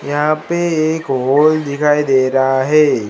यहां पे एक होल दिखाई दे रहा है।